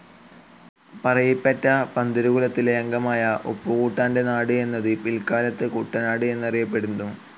പറയിപെറ്റ പന്തിരു കുലത്തിലെ അംഗമായ ഉപ്പുകൂട്ടാൻ്റെ നാട് എന്നത് പിൽക്കാലത്തു കുട്ടനാട് എന്ന് അറിയപ്പെടുന്നു.